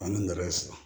An bɛ nɛgɛ siri